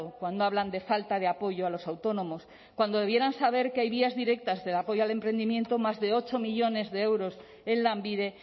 cuando hablan de falta de apoyo a los autónomos cuando debieran saber que hay vías directas de apoyo al emprendimiento más de ocho millónes de euros en lanbide